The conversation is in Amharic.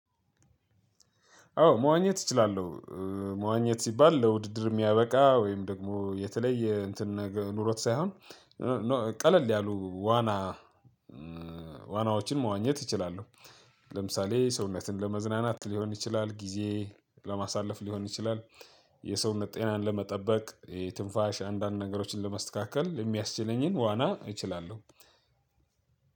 አዎ መዋኘት እችላለሁ። መዋኘት ሲባል ለውድድር የሚያበቃ ወይም ደግሞ የተለየ እትን ነገር ኑሮት ሳይሆን። ቀለል ያሉ ዋና ዋናዎችን መዋኘት እችላለሁ። ለምሳሌ ሰውነትን ለመዝናናት ሊሆን ይችላል ጊዜ ለማሳለፍ ሊሆን ይችላል። የሰውነት ጤናን ለመጠበቅ የትንፋሽ አንዳንድ ነገሮችን ለመስተካከል የሚያስችለኝን ዋና እችላለሁ።